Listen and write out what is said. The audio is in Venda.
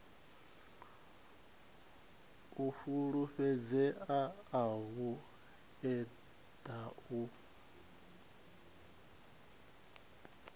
u fhulufhedzea u eḓana u